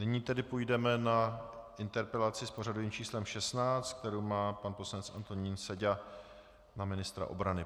Nyní tedy půjdeme na interpelaci s pořadovým číslem 16, kterou má pan poslanec Antonín Seďa na ministra obrany.